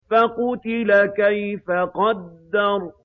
فَقُتِلَ كَيْفَ قَدَّرَ